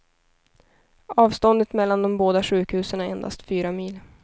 Avståndet mellan de båda sjukhusen är endast fyra mil.